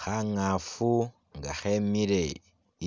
Khangafu nga khemile